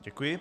Děkuji.